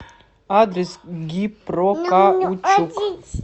адрес гипрокаучук